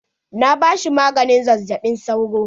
Na ba shi maganin zazzaɓin sauro.